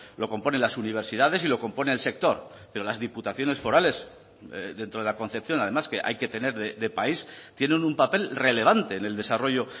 lo componen las universidades y lo compone el sector pero las diputaciones forales dentro de la concepción además que hay que tener de país tienen un papel relevante en el desarrollo